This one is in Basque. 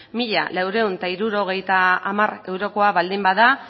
mila laurehun eta hirurogeita hamar eurokoa baldin bada